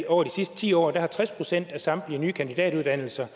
over de sidste ti år er tres procent af samtlige nye kandidatuddannelser